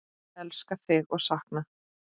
Elska þig og sakna!